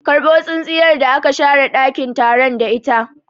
Karbo tsintsiyar da aka share ɗakin taron da ita!